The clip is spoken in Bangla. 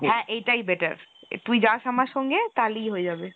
হ্যাঁ , এইটাই better , তুই যাস আমার সঙ্গে তাহলেই হয়ে যাবে।